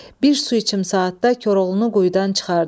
Bir su içim saatda Koroğlunu quyudan çıxardı.